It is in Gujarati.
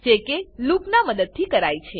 જે કે લૂપનાં મદદથી કરાય છે